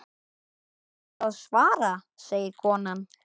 Ætlarðu að svara, segir konan.